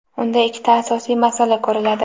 unda ikkita asosiy masala ko‘riladi.